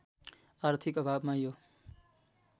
आर्थिक अभावमा यो